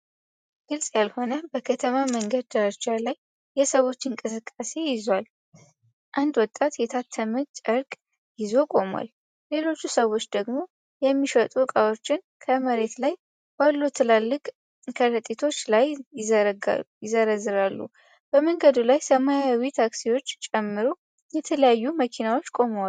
ግልጽ ያልሆነ በከተማ መንገድ ዳርቻ ላይ የሰዎችን እንቅስቃሴ ይዟል። አንድ ወጣት የታተመ ጨርቅ ይዞ ቆሟል። ሌሎች ሰዎች ደግሞ የሚሸጡ ዕቃዎችን ከመሬት ላይ ባሉ ትላልቅ ከረጢቶች ላይ ይዘረዝራሉ። በመንገዱ ላይ ሰማያዊ ታክሲዎችን ጨምሮ የተለያዩ መኪኖች ቆመዋል።